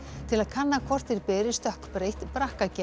til að kanna hvort þeir beri stökkbreytt